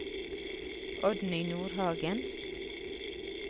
Oddny Nordhagen